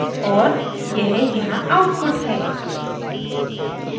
और यह यहाँ output है